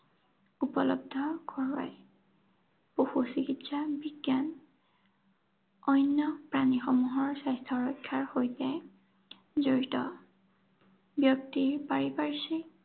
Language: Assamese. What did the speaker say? উপলব্ধ কৰোৱায়। পশু চিকিৎসা বিজ্ঞান অন্য প্ৰাণীসমূহৰ স্বাস্থ্যৰক্ষাৰ সৈতে জড়িত। ব্যক্তিৰ পাৰিপাৰ্শ্বিক